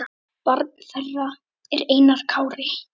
Barn þeirra er Einar Kári.